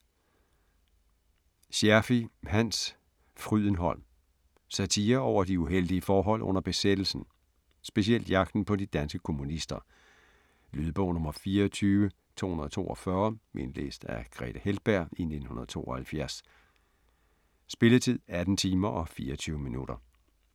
Scherfig, Hans: Frydenholm Satire over de uheldige forhold under besættelsen, specielt jagten på de danske kommunister. Lydbog 24242 Indlæst af Grethe Heltberg, 1972. Spilletid: 18 timer, 24 minutter.